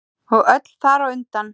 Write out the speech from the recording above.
Og öll þar á undan.